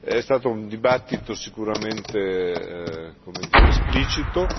È stato un dibattito sicuramente, come dire, esplicito.